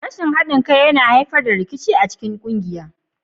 Rashin haɗin kai yana haifar da rikici a cikin ƙungiya.